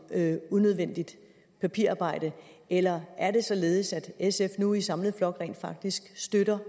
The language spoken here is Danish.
unødvendigt papirarbejde eller er det således at sf nu i samlet flok rent faktisk støtter